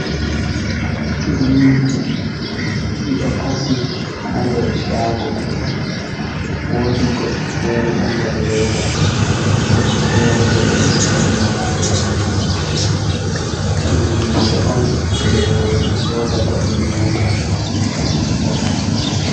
Turmiji ɗiɗo kasi ha nder shago, wodi goɗɗi fere ɗo nder leda, goɗɗi fere bo ɓe ɗo sigi ɗi wala nder leda, ɗum limse on je roɓe sodata be nyota ngam ɓe ɓorna.